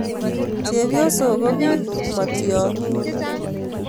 Chepyosok ko piik, matyong'ik